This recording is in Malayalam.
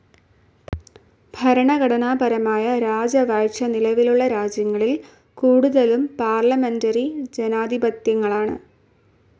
ഭരണഘടനാപരമായ രാജവാഴ്ച നിലവിലുള്ള രാജ്യങ്ങളിൽ കൂടുതലും പാർലമെന്ററി ജനാധിപത്യങ്ങളാണ്.